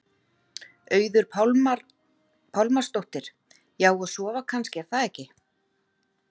Auður Pálmarsdóttir: Já, og sofa kannski er það ekki?